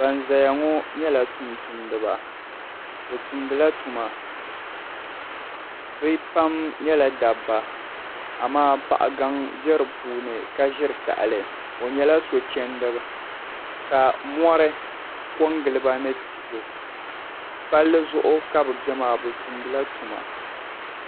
Aban zaya ŋɔ nyɛla tumtumdiba bɛ tumdila tuma bɛ pam nyɛla dabba amaa paɣa gaŋ be di puuni ka ʒiri tahali o nyɛla sochɛnda ka mori KO n giliba ni tihi palli zuɣu ka bɛ be maa bɛ tumdila tuma